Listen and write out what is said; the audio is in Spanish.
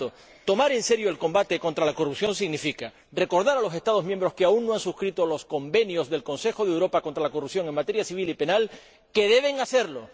Por tanto, tomar en serio el combate contra la corrupción significa recordar a los Estados miembros que aún no han suscrito los convenios del Consejo de Europea contra la corrupción en materia civil y penal que deben hacerlo